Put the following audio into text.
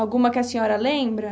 Alguma que a senhora lembra?